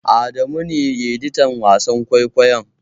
Adamu ne editan wasan kwaikwayon.